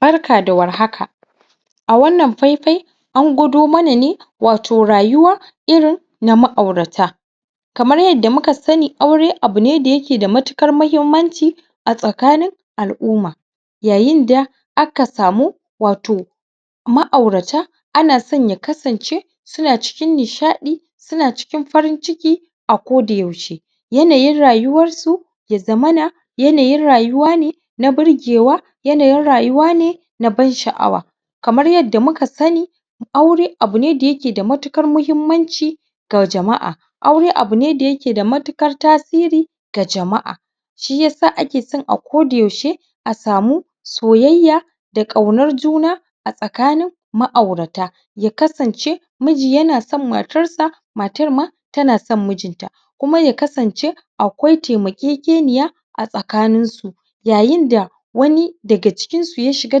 Braka da war haka! A wannan faifayian gwado mana ne, wato, rayuwa irin na ma'aurata. Kamar yadda muka sani aure abu ne da yake da matuƙar muhimmanci a tsakanin al'umma. Yayin da aka samu, wato ma'aurata ana son ya kasance suna cikin nishaɗi, suna cikin farin ciki a kodayaushe Yanayin rayuwarsu ya zamana yanayin rayuwa ne birgewa, yanayin rayuwa ne na ban-sha'awa. Kamar yadda muka sani, aure abu ne da yake da matuƙar muhimmanci ga jama'a. Aure abu ne da yake da matukar tasiri ga jama'a. Shi ya sa ake son a kodayaushe a samu soyayya da ƙaunar juna a tsakanin ma'aurata. Ya kasance miji yana son matarsa; matar ma tana son mijinta. Kuma ya kasance akwai taimakekeniya a tsakaninsu. Yayin da wani daga cikinsu ya shiga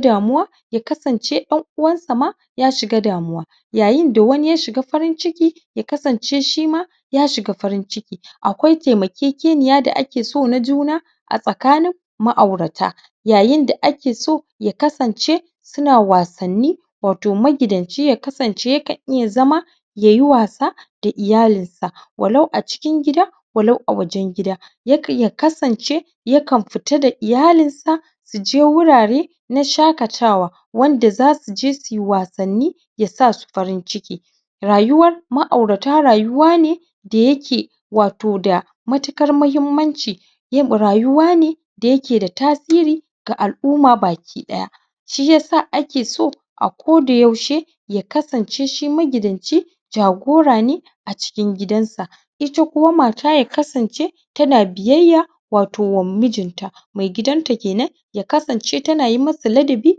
damuwa ya kasance ɗan'uwansa ma ya shiga damuwa Yayin da wani ya shiga farin ciki, ya kasance shi ma ya shiga farin ciki. Akwai taimakekeniya da ake so na juna a tsakanin ma'aurata. Yayin da ake so ya kasance suna wasanni. Wato magidanci ya kasance yakan iya zama ya yi wasa da iyalinsa, walau a cikin gida, walau a wajen gida. Ya kasance yakan fita da iyalinsa su je wurare na shakatawa wanda za su je su yi wasanni ya sa su farin ciki. Rayuwar ma'aurata rayuwa ne da yake, wato, da matuƙar muhimmanci Rayuwa ne da yake da tasiri ga al'umma baki ɗaya Shi ya sa ake so a kodayaushe ya kasance shi magidanci jagora ne a cikin gidansa. Ita kuwa mata ya kasance tana biyayya wato wa mijinta, maigidanta ke nan--ya kasance tana yi masa ladabi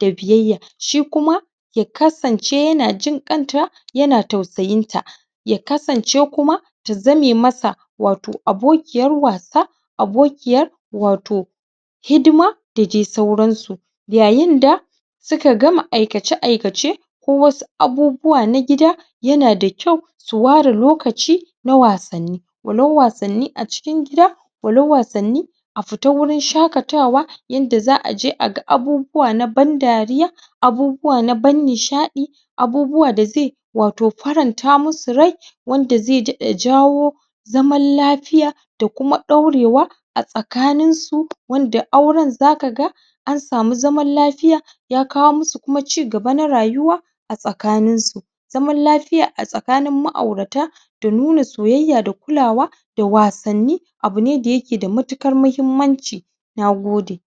da biyayya. Shi kuma ya kasance yana jin ƙanta, yana tausayinta ya kasance kuma ta zame masa wato abokiyar wasa, abokiyar wato hidima da dai sauransu. Yayin da suka gama aikace-aikace ko wasu abubuwa na gida yana da kyau su ware lokaci na wasanni, walau wasanni a cikin gida, walau wasanni a fita wurin shaƙatawa yanda za a je a ga abubuwa na ban-dariya abubuwa na ban-nishaɗi, abubuwa da zai wato faranta musu rai wanda zai daɗa jawo zaman lafiya da kuma ɗaurewa a tsakaninsu wanda auren za ka ga an samu zaman lafiya, ya kawo musu kuma cigaba na rayuwa a tsakaninsu. Zaman lafiya a tsakanin ma'aurata da nuna soyayya da kulawa da wasanni abu ne da yake da matuƙar muhimmanci. Na goda.